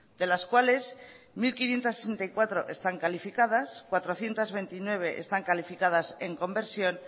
de las cuales mil quinientos sesenta y cuatro están calificadas cuatrocientos veintinueve están calificadas en conversión